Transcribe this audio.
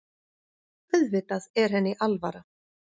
Auðvitað er henni alvara.